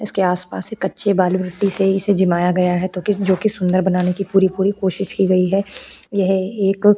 इसके आसपास से कच्चे बाल मिट्टी से इसे जिमाया गया है तो कि जो कि सुंदर बनाने की पूरी- पूरी कोशिश की गई है यह एक --